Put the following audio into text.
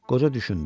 Qoca düşündü.